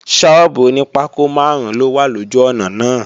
Sọ́ọ́bù oní pákó máàrún ló wà lójú ọ̀nà náà